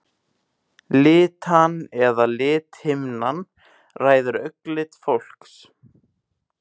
Litan eða lithimnan ræður augnlit fólks.